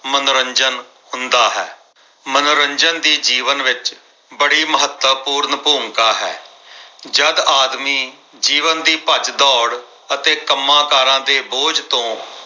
ਮਨੋਰੰਜਨ ਹੁੰਦਾ ਹੈ ਮਨੋਰੰਜਨ ਦੀ ਜੀਵਨ ਵਿੱਚ ਬੜੀ ਮਹੱਤਵਪੂਰਨ ਭੂਮਿਕਾ ਹੈ। ਜਦ ਆਦਮੀ ਜੀਵਨ ਦੀ ਭੱਜ ਦੋੜ ਅਤੇ ਕੰਮਕਾਰਾਂ ਦੇ ਬੋਝ ਤੋਂ